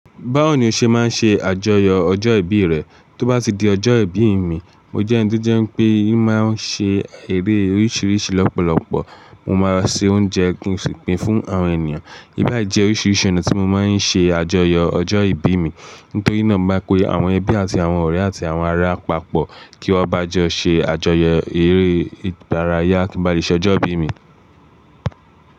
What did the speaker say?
Báwo ni o ṣe máa ń ṣe àjọyọ̀ ọjọ́ ìbí rẹ? Tó bá ti di ọjọ́ ìbí mi, mo jẹ́ ẹniti ó jẹ́ pé mí máa ń ṣe eré oríṣiríṣi lọ́pọ̀lọpọ̀. Mo máa ṣe oúnjẹ kin sì pin fún àwọn ènìyàn. Íbà jẹ́ oríṣiríṣi ọ̀nà tí mo máa ń ṣe àjọyọ ọjọ́ ìbí mi. Nítorí náà mo má pe àwọn ẹbí àti àwọn ọ̀rẹ́ àti àwọn ará papọ̀ kí wọ́n bá jọ ṣe àjọyọ̀ eré ìdárayá kí bá lè ṣọjọ́ ìbí mi.